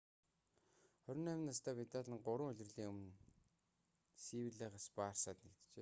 28 настай видал нь гурван улирлын өмнө севиллагаас барсад нэгджээ